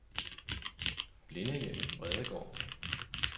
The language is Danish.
Blindehjemmet Bredegaard